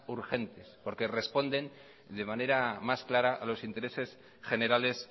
urgentes porque responde de manera más clara a los intereses generales